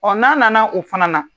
n'a nana o fana na